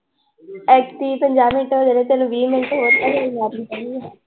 ਪੰਜਾਹ ਮਿੰਟ ਤੇ ਤੈਨੂੰ ਵੀਹ ਮਿੰਟ